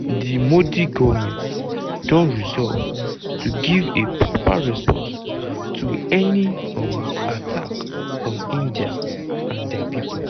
"di modi goment don resolve to give a proper response to any um attack on india and dia pipo.